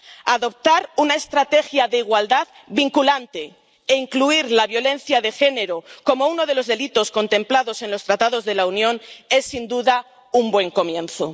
Adoptar una estrategia de igualdad vinculante e incluir la violencia de género como uno de los delitos contemplados en los Tratados de la Unión es, sin duda, un buen comienzo.